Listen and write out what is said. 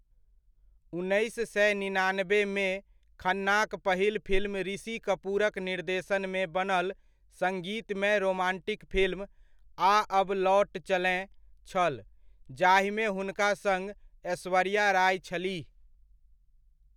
उन्नैस सए निनानबेमे, खन्नाक पहिल फिल्म ऋषि कपूरक निर्देशनमे बनल संगीतमय रोमांटिक फिल्म 'आ अब लौट चलें' छल, जाहिमे हुनका सङ्ग ऐश्वर्या राय छलीह।